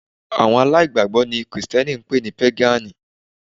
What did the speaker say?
Àwọn aláìgbàgbọ́ ni Krìsìtẹ́nì ń pè ní Pégànì